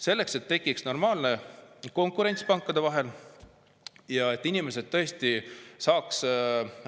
Selleks et tekiks normaalne konkurents pankade vahel ja inimesed saaks